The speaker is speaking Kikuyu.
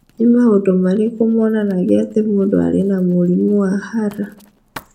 Nĩ maũndũ marĩkũ monanagia atĩ mũndũ arĩ na mũrimũ wa Hurler?